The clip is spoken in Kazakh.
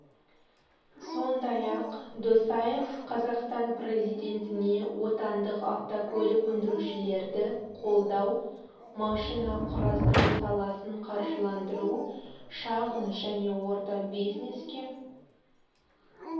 сондай-ақ досаев қазақстан президентіне отандық автокөлік өндірушілерді қолдау машина құрастыру саласын қаржыландыру шағын және орта бизнеске